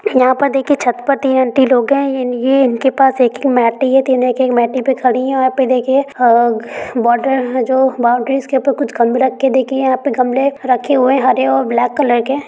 यहाँ पर देखिये छत पर तीन आंटी लोग हैं। ये इन के पास मेट हैं। तीनो एक एक मेट पे खड़ी हैं। यहाँ पे देखिए अ बॉर्डर जो बाउंड्री के ऊपर कुछ गमले रखके देखिये यहा पे गमले रखे हुए है हरे और ब्लैक कलर के।